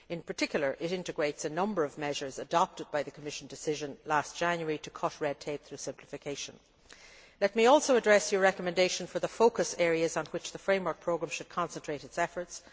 In particular, it integrates a number of measures adopted by the Commission decision last January to cut red tape through simplification. Let me also address your recommendation for the focus areas on which the Framework Programme should concentrate its efforts.